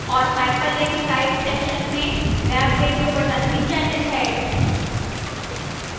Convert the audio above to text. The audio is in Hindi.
और hyperlink type section में web radio button भी चयनित है